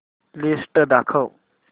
list दाखव